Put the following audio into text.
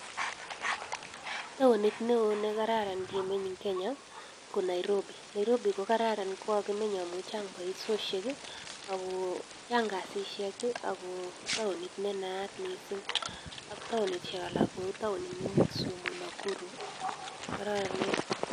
Taonit neoo nekararan kemeny en Kenya ko Niarobi, Nairobi kokarran kokameny amun chang baishoshek, ako chang kasishek, ako taonit nenaat missing ak taoinishek alak kotauinit neu Kisumu Nakuru kokararenen.